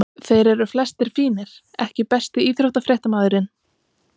Þeir eru flestir fínir EKKI besti íþróttafréttamaðurinn?